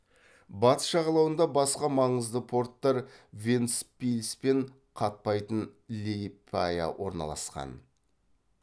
батыс жағалауында басқа маңызды порттар вентспилс пен қатпайтын лиепая орналасқан